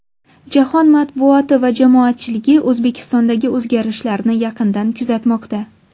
Jahon matbuoti va jamoatchiligi O‘zbekistondagi o‘zgarishlarni yaqindan kuzatmoqda.